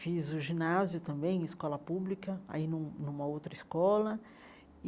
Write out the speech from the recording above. Fiz o ginásio também em escola pública, aí num numa outra escola.